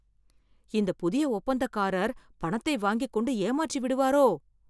இந்த புதிய ஒப்பந்தக்காரர் பணத்தை வாங்கிக் கொண்டு ஏமாற்றிவிடுவாரோ..